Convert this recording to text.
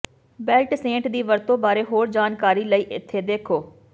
belt ਸੈਂਟ ਦੀ ਵਰਤੋਂ ਬਾਰੇ ਹੋਰ ਜਾਣਕਾਰੀ ਲਈ ਇੱਥੇ ਦੇਖੋ